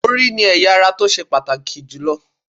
Orí ni ẹ̀ya ara tó ṣe pàtàkì jù lọ